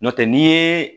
N'o tɛ n'i ye